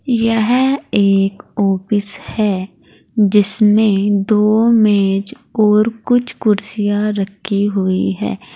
यह एक ऑफिस है जिसमें दो मैज और कुछ कुर्सियां रखी हुई है।